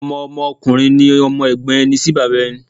Ọmọ Ọmọ ọkùnrin ni Ọmọ Ègbón ẹni sí bàbá ẹni